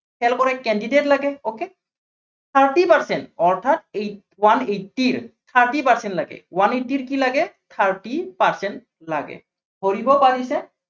fail কৰা candidate লাগে, okay thirty percent অৰ্থাত one eighty ৰ thirty percent লাগে। one eighty ৰ কি লাগে thirty percent লাগে। ধৰিব পাৰিছে।